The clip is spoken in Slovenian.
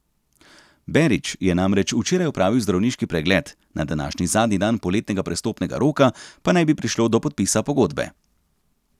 Berić je namreč včeraj opravil zdravniški pregled, na današnji zadnji dan poletnega prestopnega roka pa naj bi prišlo do podpisa pogodbe.